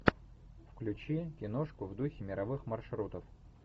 включи киношку в духе мировых маршрутов